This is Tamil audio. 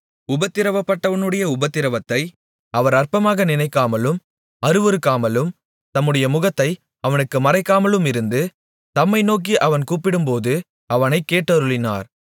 உபத்திரவப்பட்டவனுடைய உபத்திரவத்தை அவர் அற்பமாக நினைக்காமலும் அருவருக்காமலும் தம்முடைய முகத்தை அவனுக்கு மறைக்காமலுமிருந்து தம்மை நோக்கி அவன் கூப்பிடும்போது அவனைக் கேட்டருளினார்